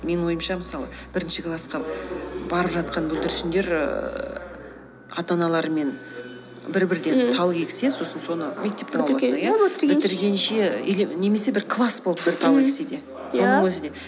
менің ойымша мысалы бірінші классқа барып жатқан бүлдіршіңдер ііі ата аналарымен бір бірден ммм тал ексе сосын соны мектептің алдында иә бітіргенше или немесе бір класс болып бір тал ексе де ия сонын өзі де